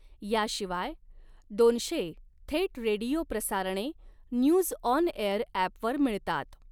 याशिवाय दोनशे थेट रेडीओ प्रसारणे न्यूजऑनएअर अॅपवर मिळतात.